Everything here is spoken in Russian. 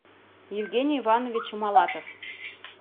евгений иванович малатов